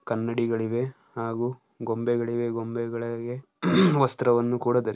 ಕನ್ನಡಿಗಳಿವೆ ಹಾಗೂ ಗೊಂಬೆಗಳಿವೆ. ಗೊಂಬೆಗಳಿಗೆ ವಸ್ತ್ರವನ್ನು ಕೂಡ ಧರಿ--